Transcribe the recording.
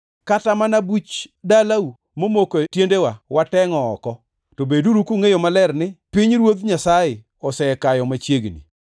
‘Kata mana buch dalau momoko e tiendewa watengʼo oko. To beduru kungʼeyo maler ni: Pinyruoth Nyasaye osekayo machiegni.’